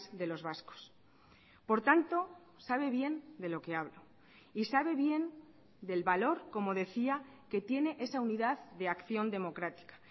de los vascos por tanto sabe bien de lo que hablo y sabe bien del valor como decía que tiene esa unidad de acción democrática